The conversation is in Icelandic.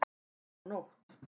Það var nótt.